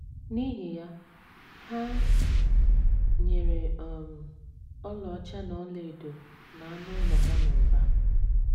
N’ihi ya, ha nyere um ọlaọcha na ọlaedo na anụ ụlọ ha n’ụba.